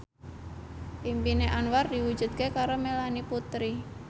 impine Anwar diwujudke karo Melanie Putri